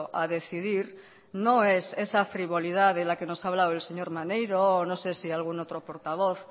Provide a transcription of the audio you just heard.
a decidir no es esa frivolidad de la que nos ha hablado el señor maneiro o no sé si algún otro portavoz